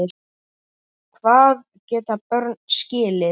Hvað geta börn skilið?